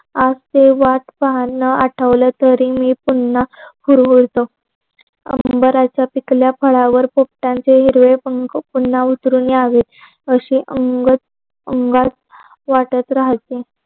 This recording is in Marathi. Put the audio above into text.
आज थोडी वाट पाहण आठवल तरी मी पुन्हा हुरूरवत. उमरानच पिकल्या फळवकर पोपटाचे हिरवे पंक पुन्हा उतरून यावे. असे अंगअंगात वाटत राहायचे.